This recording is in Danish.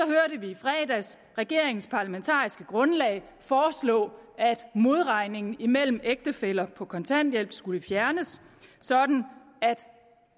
hørte vi i fredags regeringens parlamentariske grundlag foreslå at modregningen imellem ægtefæller på kontanthjælp skulle fjernes sådan